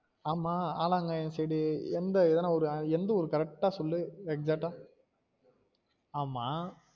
ஆமா ஆளாங்கை side உ எந்த எதுனா ஒரு எந்த ஊரு correct ஆ சொல்லு exact ஆ ஆமா